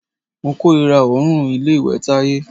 Mo kòrira òórùn ilé ìwẹ̀ Táyé.